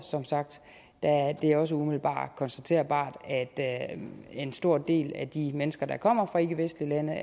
det er også umiddelbart konstaterbart at en stor del af de mennesker der kommer fra ikkevestlige lande